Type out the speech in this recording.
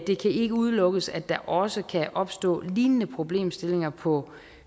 det kan ikke udelukkes at der også kan opstå lignende problemstillinger på